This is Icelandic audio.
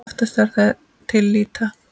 Oftast er það til lýta.